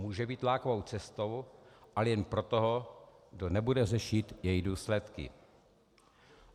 Může být lákavou cestou ale jen pro toho, kdo nebude řešit její důsledky.